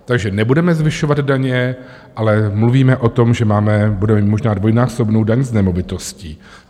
Takže nebudeme zvyšovat daně, ale mluvíme o tom, že budeme mít možná dvojnásobnou daň z nemovitostí.